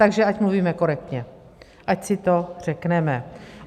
Takže ať mluvíme korektně, ať si to řekneme.